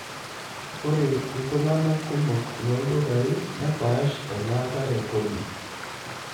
Ore iltung'anak kumok looldukai nepaaash elaata e kodi.